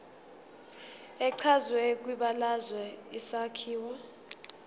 echazwe kwibalazwe isakhiwo